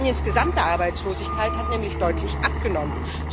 Spaniens gesamte Arbeitslosigkeit hat nämlich deutlich abgenommen.